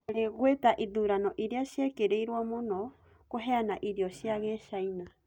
Olly gwetaĩthũranoĩrĩa cĩĩkĩrĩĩrwo mũno kũheanaĩrĩo cĩa gĩchĩna